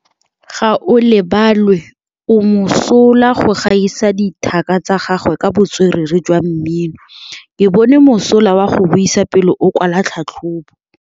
Gaolebalwe o mosola go gaisa dithaka tsa gagwe ka botswerere jwa mmino. Ke bone mosola wa go buisa pele o kwala tlhatlhobô.